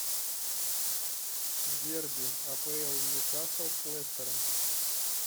дерби апл ньюкасл с лестером